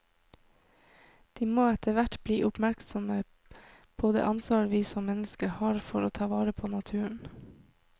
De må etterhvert bli oppmerksomme på det ansvar vi som mennesker har for å ta vare på naturen.